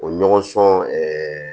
O ɲɔgɔn sɔn